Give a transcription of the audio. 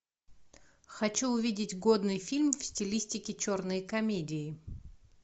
хочу увидеть годный фильм в стилистике черные комедии